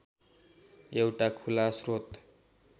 एउटा खुला श्रोत